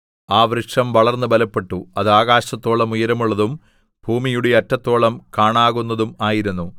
ആ വൃക്ഷം വളർന്ന് ബലപ്പെട്ടു അത് ആകാശത്തോളം ഉയരമുള്ളതും ഭൂമിയുടെ അറ്റത്തോളം കാണാകുന്നതും ആയിരുന്നു